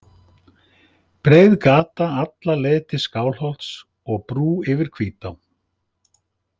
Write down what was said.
Breið gata alla leið til Skálholts og brú yfir Hvítá!